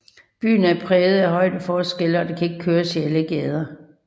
Byen er præget af højdeforskelle og der kan ikke køres i alle gader